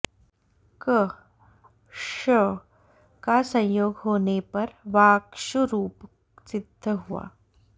क् ष का संयोग होने पर वाक्षु रूप सिद्ध हुआ